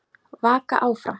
Vaka áfram.